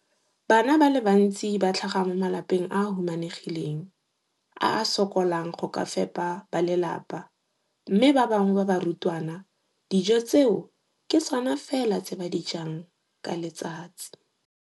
Bana ba le bantsi ba tlhaga mo malapeng a a humanegileng a a sokolang go ka fepa ba lelapa mme ba bangwe ba barutwana, dijo tseo ke tsona fela tse ba di jang ka letsatsi.